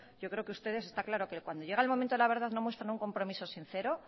yo creo que ustedes está claro que cuando llega el momento de la verdad no muestra un compromiso sincero